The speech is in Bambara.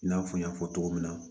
I n'a fɔ n y'a fɔ cogo min na